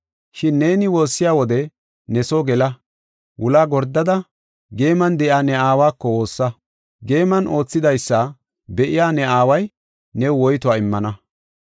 Shin neeni woossiya wode, ne soo gela, wulaa gordada geeman de7iya ne Aawa woossa; geeman oosetidaysa be7iya ne aaway new woytuwa immana.